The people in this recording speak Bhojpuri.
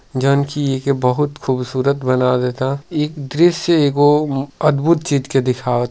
जानकी जी के बहुत खूबसूरत बना देता। ई दृश्य एगो म्-अद्भुत चीज के दिखा --